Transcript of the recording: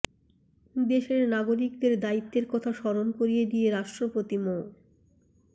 দেশের নাগরিকদের দায়িত্বের কথা স্মরণ করিয়ে দিয়ে রাষ্ট্রপতি মো